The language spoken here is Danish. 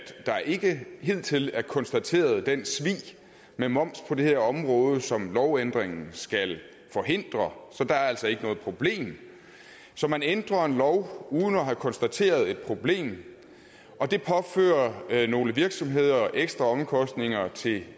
der ikke hidtil er konstateret den svig med moms på det her område som lovændringen skal forhindre så der er altså ikke noget problem så man ændrer en lov uden at have konstateret et problem og det påfører nogle virksomheder ekstra omkostninger til